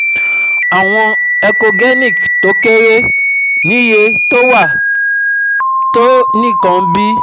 àwọn echogenic tó kéré níye tó wà tó nǹkan bí 0